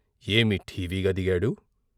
ఏమి ఠీవిగా దిగాడు!